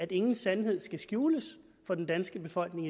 ingen sandhed skal skjules for den danske befolkning